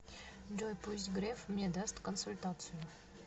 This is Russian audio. джой пусть греф мне даст консультацию